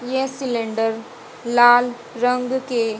ये सिलेंडर लाल रंग के--